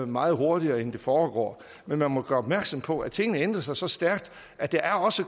meget hurtigere end det foregår men man må gøre opmærksom på at tingene ændrer sig så stærkt at der også